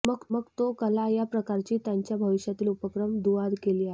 मग तो कला या प्रकारची त्यांच्या भविष्यातील उपक्रम दुवा केली आहे